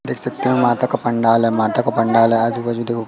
देख सकते हैं माता का पंडाल है माता का पंडाल है आजु बाजू देखो--